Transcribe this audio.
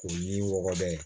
O yiri wɔlɔbɛ ye